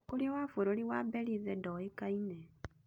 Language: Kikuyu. Mũtongoria wa bũrũri wa Belize ndũĩkaine.